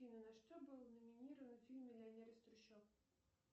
афина на что был номинирован фильм миллионер из трущоб